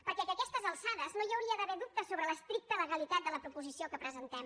perquè a aquestes alçades no hi hauria d’haver dubtes sobre l’estricta legalitat de la proposició que presentem